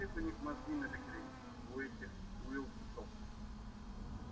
у всех у них мозги набекрень у этих уилксов